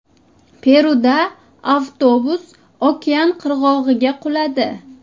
Peruda avtobus okean qirg‘og‘iga quladi.